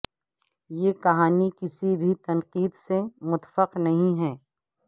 یہ کہانی کسی بھی تنقید سے متفق نہیں ہے